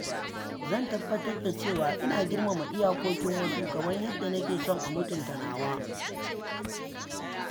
Zan tabbatar da cewa ina girmama iyakokin wasu kamar yadda nake son a mutunta nawa.